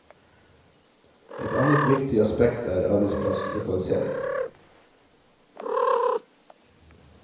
Et annet viktig aspekt er arbeidsplasslokalisering.